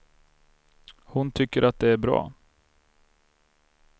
Hon tycker att det är bra.